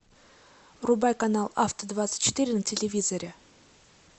врубай канал авто двадцать четыре на телевизоре